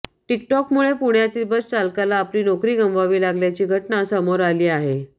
टिकटॉकमुळे पुण्यातील बस चालकाला आपली नोकरी गमवावी लागल्याची घटना समोर आली आहे